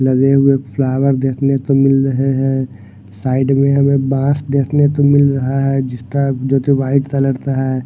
लगे हुए फ्लावर देखने को मिल रहे हैं साइड में हमें बास देखने को मिल रहा है जिसका जोकि व्हाइट कलर का है।